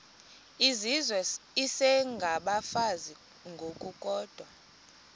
izizwe isengabafazi ngokukodwa